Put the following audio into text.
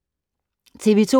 TV 2